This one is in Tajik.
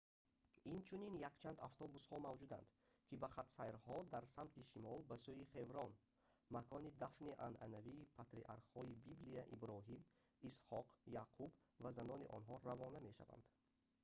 инчунин якчанд автобусҳо мавҷуданд ки ба хатсайрҳо дар самти шимол ба сӯи хеврон макони дафни анъанавии патриархҳои библия иброҳим исҳоқ яъқуб ва занони онҳо равона равона мешаванд